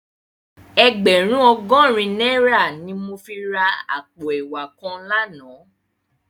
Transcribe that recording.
Ègbèrún ògòrín nàirá ni mó fi rá àpó èwá kán làná